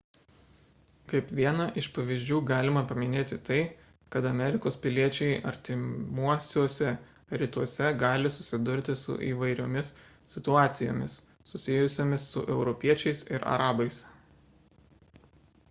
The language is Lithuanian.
kaip vieną iš pavyzdžių galima paminėti tai kad amerikos piliečiai artimuosiuose rytuose gali susidurti su įvairiomis situacijomis susijusiomis su europiečiais ir arabais